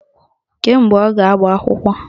Kedu mgbe ọ ga-agba akwụkwọ?